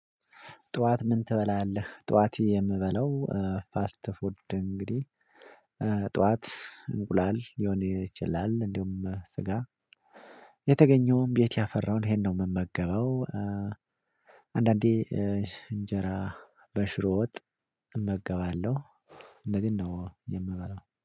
ጠዋት ምን ትበላለህ ጠዋት የምበለው ፋስት ፉድ እንግዲህ ጠዋት እንቁላል ሊሆነ ይችላል እንዲሁም ስጋ የተገኘውም ቤት ያፈራውን ይሄን ነው። የምመገበው። አንዳንዴ እንጀራ በሽሮ ወጥ እመገባለሁ። እነዚህን ነው የምበላው